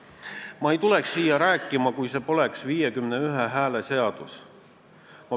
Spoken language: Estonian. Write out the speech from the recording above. Ma ei oleks tulnud siia seda rääkima, kui see poleks 51 häält nõudev seadus.